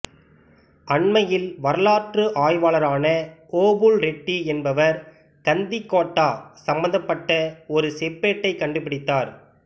அண்மையில் வரலாற்று ஆய்வாளரான ஓபுல் ரெட்டி என்பவர் கந்திக்கோட்டா சம்மந்தப்பட்ட ஒரு செப்பேட்டைக் கண்டுபிடித்தார்